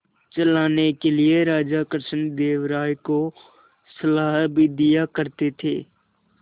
चलाने के लिए राजा कृष्णदेव राय को सलाह भी दिया करते थे